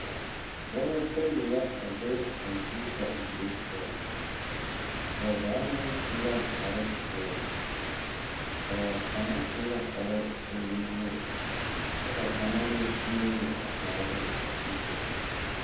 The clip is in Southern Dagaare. Dɔba bayi la a be kɔmpeta die poɔŋ ba zaa meŋ su la kparepeɛle ba kaŋa su la kparoo k,o e nuwogi kyɛ ka kaŋa meŋ teɛ o nu kyaare kɔmpeta.